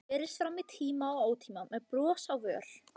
Enginn hefur orðað þetta betur á íslensku en Vatnsenda-Rósa